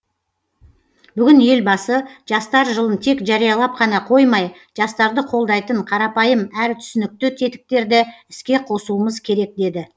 бүгін елбасы жастар жылын тек жариялап қана қоймай жастарды қолдайтын қарапайым әрі түсінікті тетіктерді іске қосуымыз керек деді